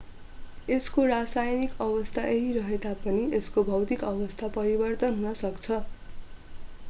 यसको रासायनिक अवस्था उही रहे तापनि यसको भौतिक अवस्था परिवर्तन हुन सक्छ